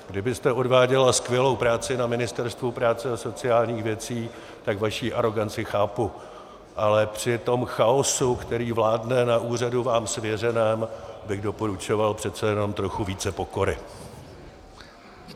Kdybyste odváděla skvělou práci na Ministerstvu práce a sociálních věcí, tak vaši aroganci chápu, ale při tom chaosu, který vládne na úřadu vám svěřeném, bych doporučoval přece jenom trochu více pokory.